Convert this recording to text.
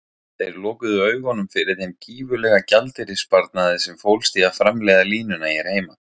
Þeir lokuðu augunum fyrir þeim gífurlega gjaldeyrissparnaði sem fólst í að framleiða línuna hér heima.